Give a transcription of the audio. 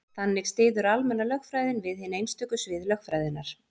þannig styður almenna lögfræðin við hin einstöku svið lögfræðinnar